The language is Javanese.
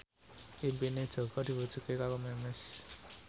impine Jaka diwujudke karo Memes